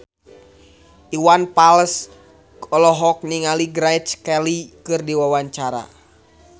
Iwan Fals olohok ningali Grace Kelly keur diwawancara